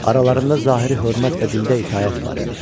Aralarında zahiri hörmət və dildə itaət var idi.